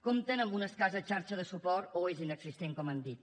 compten amb una escassa xarxa de suport o és inexistent com hem dit